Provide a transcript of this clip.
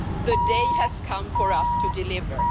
The day has come for us to deliver.